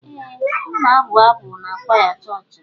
Ee m na-abụ abụ n'kwaya chọọchị m.